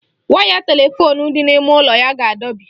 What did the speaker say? Waya telefoonu dị n'ime ụlọ ya ga-adọbi.